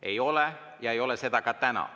Ei ole olnud ja ei ole seda ka täna.